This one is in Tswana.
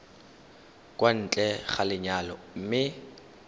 kwa ntle ga lenyalo mme